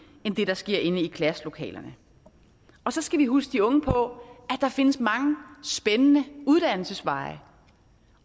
end det der sker inde i klasselokalerne så skal vi huske de unge på at der findes mange spændende uddannelsesveje